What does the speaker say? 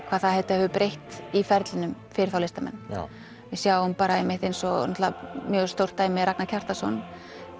hvað þetta hefur breytt í ferlinum fyrir þá listamenn já við sjáum eins og mjög stórt dæmi Ragnar Kjartansson